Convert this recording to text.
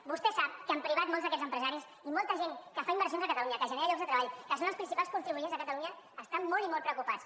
vostè sap que en privat molts d’aquests empresaris i molta gent que fa inversions a catalunya que generen llocs de treball que són els principals contribuents a catalunya estan molt i molt preocupats